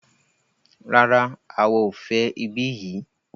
Rárá, àwa o fẹ ibí yìí.